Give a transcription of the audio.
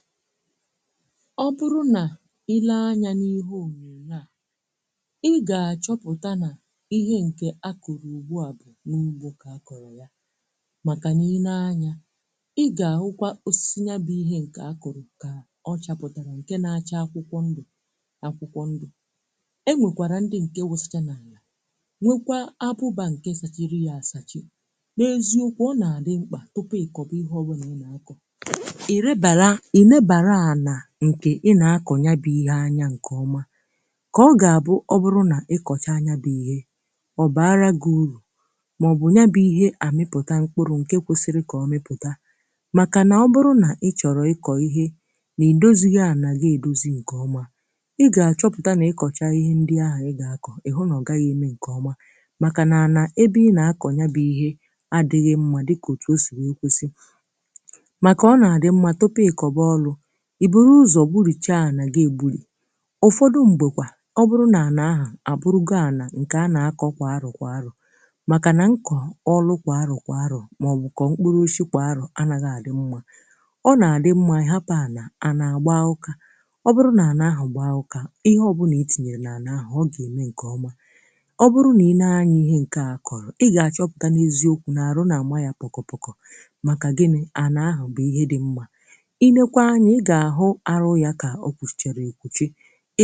Ọ bụrụ na ị leba anya nke ọma n’ihe onyonyo a, ị ga-achọpụta na ihe e kụrụ ebe a n’ugbo bụ osisi dị iche iche. Ụfọdụ n’ime osisi ndị a ka dị ọhụrụ ma na-acha akwụkwọ ndụ akwụkwọ ndụ, ebe ụfọdụ akwụsachala akwụkwọ ha n’ala ma akọrọla. N’eziokwu, nke a na-egosi na ọ dị ezigbo mkpa ịkwadebe ala tupu ị kụọ ihe ọ bụla. Ihe ị ga-akụ kwesịrị ịbụ ihe ọma, um ka ọ wee mee ka e nwee nnukwu mkpụrụ na ihe a tụrụ anya ya. N’ihi na ọ bụrụ na ị kụọ ihe n’ala a kwadoghị nke ọma, ị ga-achọpụta na nsonaazụ agaghị adị mma. Ala e kwadoghị nke ọma enweghị ike ịkwado ọrụ ugbo nke ọma. Mgbe ụfọdụ, ala dị otu a ọbụna na-ebibi ihe a kụrụ. Ma ọ bụrụ na a kwadebere ala ahụ nke ọma, kpochapụ ya nke ọma, kụchaa ya kwa oge kwa oge, ala ahụ ga-aghọ nke ọma, um ugbo wee gaa nke ọma. Ọ bụrụ na e hapụrụ ala ahụ n’enweghị ọrụ ugbo, ọ na-agba ọdụ osisi ọhịa. Ma ọ bụrụ na e lekọtara ya nke ọma, kpochapụ ya, kụọ ihe na ya, ugbo ahụ ga-enye mkpụrụ ọma. Ọ bụrụ na ị leba anya nke ọma n’ihe e kụrụ, ị ga-achọpụta na ha nwere ọtụtụ uru. Ị ga-ahụ ka alaka ha gbasasịrị nke ọma,